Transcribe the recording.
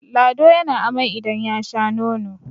lado ya na amai idan ya Sha nono!